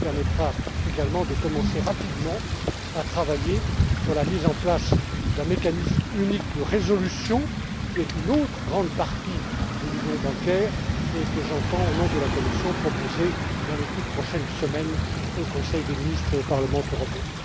Cela permettra, également, de commencer rapidement à travailler sur la mise en place d'un mécanisme unique de résolution, qui est une autre grande partie de l'Union bancaire et que j'entends, au nom de la Commission, proposer dans les toutes prochaines semaines, au Conseil des ministres et au Parlement européen.